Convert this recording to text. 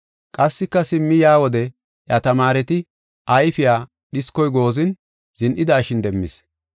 Qassika simmi yaa wode iya tamaareta ayfiya dhiskoy goozin, zin7idashin demmis.